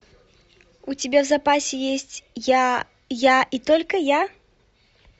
у тебя в запасе есть я я и только я